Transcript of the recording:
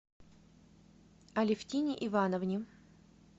алефтине ивановне